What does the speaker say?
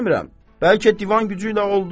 Demirəm, bəlkə divan gücü ilə oldu.